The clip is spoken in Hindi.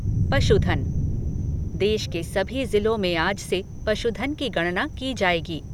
पशुधन देश के सभी ज़िलों में आज से पशुधन की गणना की जाएगी।